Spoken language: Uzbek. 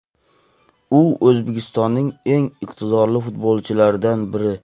U O‘zbekistonning eng iqtidorli futbolchilaridan biri.